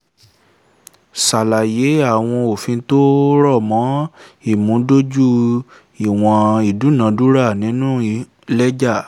ṣàlàyé àwọn òfin tó rọ̀ mọ́ ìmúdójú ìwọ̀n ìdúnàádúrà nínú lẹ́jà